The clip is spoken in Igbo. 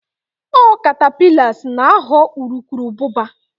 ọ catapillars na ghọọ urukurubụba